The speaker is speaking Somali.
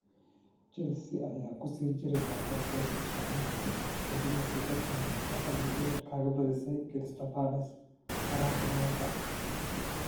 Chelsea ayaa ku sii jiri doonta booska shanaad ka dib markii Tottenham ay haal iyo ebeer kaga badisay Crystal Palace horaantii maanta.